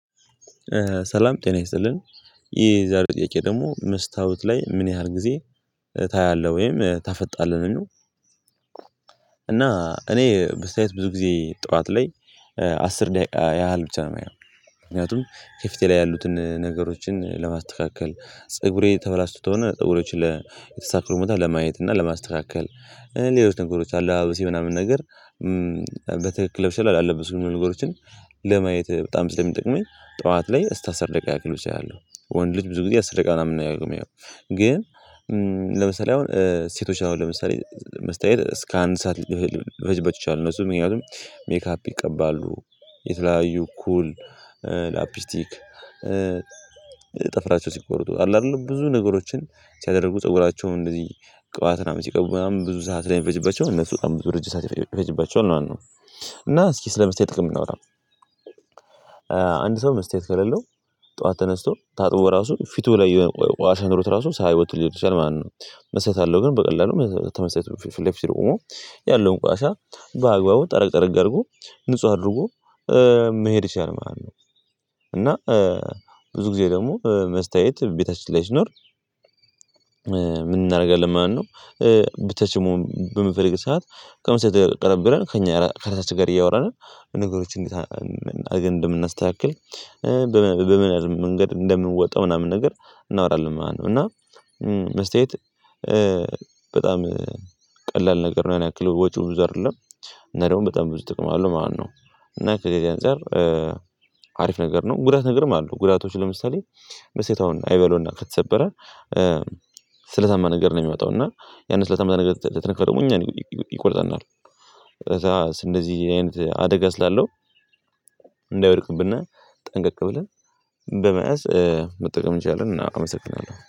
ሰላም ጤና ይስልን የዛሬው ጥያቄ ደግሞ "መስታወት ላይ ምን ያህል ጊዜ ታያለህ ወይም ታፈጣለህ?" ነው ሚለው። እኔ በስተያየት ብዙ ጊዜ ጠዋት ላይ አስር ደቂቃ ያህል ብቻ ነው የማየው። ምክንያቱም ከፊቴ ላይ ያሉትን ነገሮችን ለማስተካከል ጸግሬ ተበላሽቶ ተሆነ ጸግሬዎችን ለተሳክሮ ቦታ ለማየት እና ለማስተካከል። ሌሎች ነገሮች አለባበሴ ምናምን ነገር በትክክል ለብሻለሁ አለበስኩም የሚሉ ነገሮችን ለማየት በጣም ስለሚጠቅመኝ ጠዋት ላይ እስከ አስር ደቂቃ ያክል ብቻ አያለሁ። ወንድ ልጅ ብዙ ጊዜ አስር ደቂቃ ምናምን ነው የሚያየው። ለምሳሌ አሁን ሴቶች አሁን ለምሳሌ መስተያየት እስከ አንድ ሰዓት ሊፈጅ ሊፈጅባቸው ይችላል እነሱ ምክንያቱም ሜካፕ ይቀባሉ፣ የተለያዩ ኩል ላፒስቲክ ጥፍራቸው ሲቆርጡ አለ አይደል ብዙ ነገሮችን ሲያደርጉ ፀጉራቸውን እንደዚህ ቅባት ምናምን ሲቀቡ ምናምን ብዙ ሰዓት ስለሚፈጅባቸው እነሱ በጣም ብዙ ረጅም ሰዓት ይፈጅ ይፈጅባቸዋል ማለት ነው። እና እስኪ ስለ መስተያየት ጥቅም እናውራ፣ አንድ ሰው መስታየት ከሌለው ጠዋት ተነስቶ ታጥቦ ራሱ ፊቱ ላይ የሆነ ቆሻሻ ኖሮት ራሱ ስያየው ወጦ ሊሄድ ይችላል ማለት ነው መስታየት ካለው ግን በቀላሉ ከመስታይቱ ፊት ለፊት ቁሞ ያለውን ቆሻሻ በአግባቡ ጠረግ ጠረግ አድርጎ ንጹህ አድርጎ መሄድ ይችላል ማለት ነው እና ብዙ ጊዜ ደግሞ መስታየት ቤታችን ላይ ላይ ሲኖር ምን እናደርጋለን ማለት ነው ብቻችን መሆን በምንፈልግ ሰዓት ከመስታየት ላይ ቀረብ ብለን ከእኛ ከራሳችን ጋር እያወራን ነው በነገሮች እንደምናስተካክል በምን አይነት መንገድ እንደምንወጣው ምናምን ነገር እናወራለን ማለት ነው እና መስታየት በጣም ቀላል ነገር ነው ያክል ወጪው ብዙ አይደለም እና ደግሞ በጣም ብዙ ጥቅም አለው ማለት ነው እና ከዚህ በዚህ አንፃር አሪፍ ነገር ነው ጉዳት ነገርም አለው ጉዳቶች ለምሳሌ መስታየት አሁን አይበለውና ከተሰበረ ስለታማ ነገር ነው የሚወጣው እና ያንን ስለታማ ነገር ከተነካ ደግሞ እኛን ይቆርጠናል እንደዚህ አይነት አደጋ ስላለው እንዳይወድቅብነ ጠንቀቅ ብለን በመያዝ መጠቀም እንችላለን እናመሰግናለን